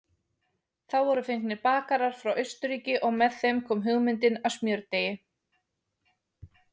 Þá voru fengnir bakarar frá Austurríki og með þeim kom hugmyndin að smjördeigi.